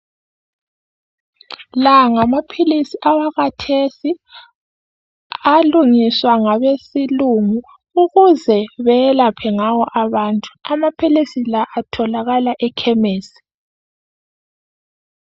La ngamaphilisi awakathesi alungiswa ngabesilungu ukuze beyelaphe ngawo abantu. Amaphilisi la atholakala ekhemisi.